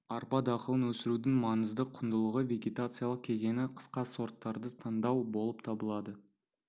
арпа дақылын өсірудің маңызды құндылығы вегетациялық кезеңі қысқа сорттарды таңдау болып табылады